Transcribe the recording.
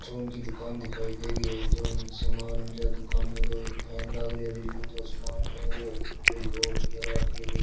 फ़ोन की दुकान दिखाई दे रही हे जो समान फेन लाग रियो रीलिंग समान टंग रियो ऊपर कोई --